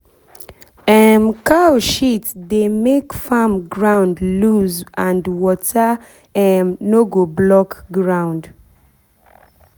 um cow shit dey make farm ground loose and water um no go block ground.